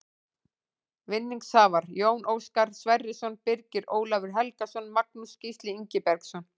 Vinningshafar: Jón Óskar Sverrisson Birgir Ólafur Helgason Magnús Gísli Ingibergsson